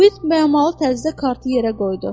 Uid bəyənməli təzədən kartı yerə qoydu.